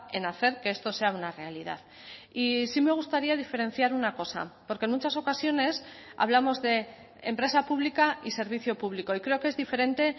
en hacer que esto sea una realidad y sí me gustaría diferenciar una cosa porque en muchas ocasiones hablamos de empresa pública y servicio público y creo que es diferente